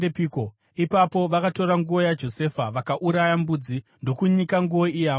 Ipapo vakatora nguo yaJosefa, vakauraya mbudzi ndokunyika nguo iya muropa.